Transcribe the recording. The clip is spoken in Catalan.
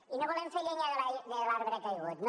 i no volem fer llenya de l’arbre caigut no